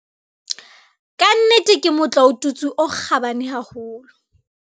"Ka nnete ke motlaotutswe o kgabane haholo."